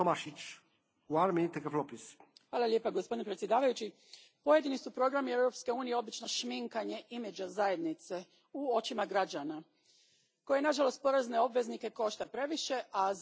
Gospodine predsjedniče, pojedini su programi Europske unije obično šminkanje imidža Zajednice u očima građana, koje nažalost porezne obveznike košta previše, a zauzvrat ne nudi nikakvu dodanu vrijednost.